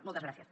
moltes gràcies